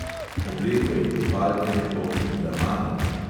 Obleko in tipalke mi bo kupila mami.